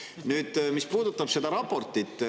Nüüd, mis puudutab seda raportit.